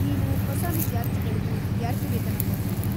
ನೀವು ಹೊಸ ವಿದ್ಯಾರ್ಥಿಗಳ್ಗೂ ವಿದ್ಯಾರ್ಥಿವೇತನ ಕೊಡ್ತೀರಾ?